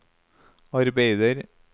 arbeider